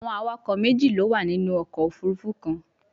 Awọn awakọ meji lo wa ninu ọkọ ofurufu kan